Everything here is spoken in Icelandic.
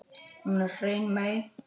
Hún er hrein mey.